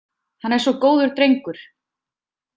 Hann er svo góður drengur.